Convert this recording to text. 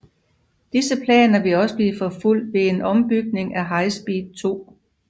Disse planer vil også blive forfulgt ved en ombygning for High Speed 2